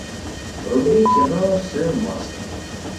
вруби кино сын маски